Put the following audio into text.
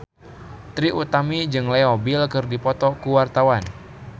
Trie Utami jeung Leo Bill keur dipoto ku wartawan